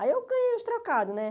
Aí eu ganhei uns trocados, né?